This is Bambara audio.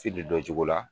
dɔn cogo la